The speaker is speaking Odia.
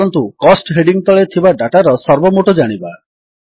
ଚାଲନ୍ତୁ କୋଷ୍ଟ ହେଡିଙ୍ଗ୍ ତଳେ ଥିବା ଡାଟାର ସର୍ବମୋଟ ଜାଣିବା